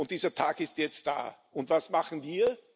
Dieser Tag ist jetzt da, und was machen wir?